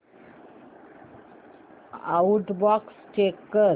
outbox check कर